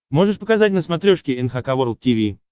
можешь показать на смотрешке эн эйч кей волд ти ви